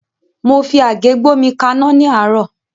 Mo fi àgé gbómi kaná ní àárọ́.